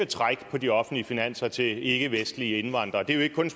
træk på de offentlige finanser til ikkevestlige indvandrere det er jo ikke kun